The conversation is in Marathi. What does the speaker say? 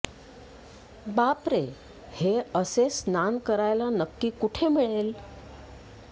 बापरे हे असे स्नान करायला नक्की कुठे मिळेल